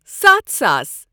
ستھ ساس